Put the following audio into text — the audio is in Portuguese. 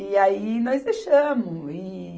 E aí nós deixamos. E